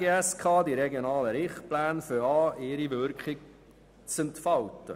Die Regionalen Richtpläne beginnen ihre Wirkung zu entfalten.